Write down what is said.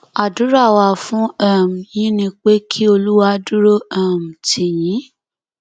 àdúrà wa fún um yín ni pé kí olúwa dúró um tì yín